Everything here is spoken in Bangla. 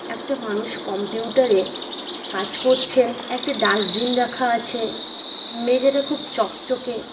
একটা মানুষ কম্পিউটার -এ কাজ করছেন একটা ডাস্টবিন রাখা আছে মেঝেটা খুব চকচকে ।